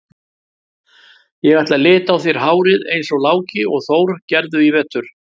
Ég ætla að lita á þér hárið eins og Láki og Þór gerðu í vetur.